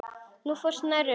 Þú fórst nærri um það.